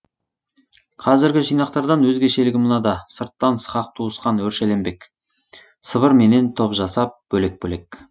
қазіргі жинақтардан өзгешелігі мынада сырттан сықақ туысқан өршеленбек сыбырменен топ жасап бөлек бөлек